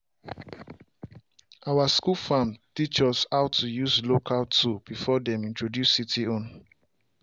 our school farm teach us how to use local tool before dem introduce city own.